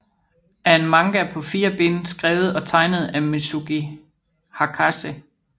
er en manga på fire bind skrevet og tegnet af Mizuki Hakase